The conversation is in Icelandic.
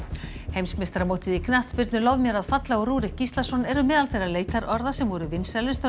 heimsmeistaramótið í knattspyrnu lof mér að falla og Rúrik Gíslason eru meðal þeirra leitarorða sem voru vinsælust á